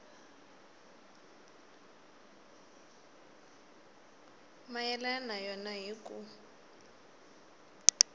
mayelana na yona hi ku